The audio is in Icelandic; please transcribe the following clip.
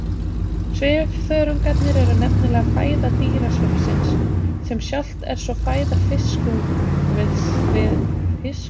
Svifþörungarnir eru nefnilega fæða dýrasvifsins, sem sjálft er svo fæða fiskungviðis og uppsjávarfiska.